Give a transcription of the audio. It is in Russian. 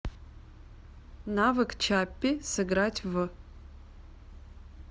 навык чаппи сыграть в